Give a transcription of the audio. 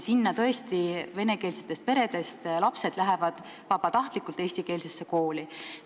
Seal tõesti vene peredes kasvavad lapsed lähevad vabatahtlikult eesti kooli.